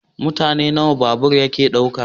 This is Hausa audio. Mutum nawa babur yake dauka?